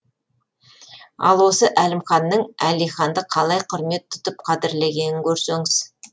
ал осы әлімханның әлиханды қалай құрмет тұтып қадірлегенін көрсеңіз